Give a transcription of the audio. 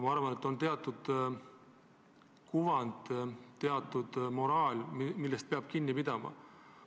Ma arvan, et on teatud kuvand, teatud moraal, millest kõik peavad kinni pidama.